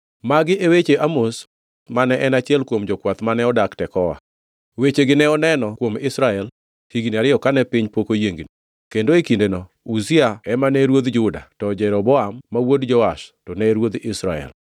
Magi e weche Amos mane en achiel kuom jokwath mane odak Tekoa. Wechegi ne oneno kuom Israel higni ariyo kane piny pok oyiengni, kendo e kindeno Uzia ema ne ruodh Juda, to Jeroboam ma wuod Joash to ne ruodh Israel.